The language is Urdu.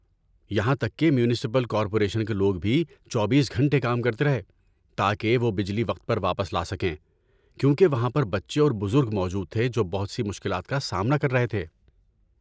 یہاں تک کہ میونسپل کارپوریشن کے لوگ بھی چوبیس گھنٹے کام کرتے رہے، تاکہ وہ بجلی وقت پر واپس لا سکیں، کیونکہ وہاں پر بچے اور بزرگ موجود تھے جو بہت سی مشکلات کا سامنا کر رہے تھے۔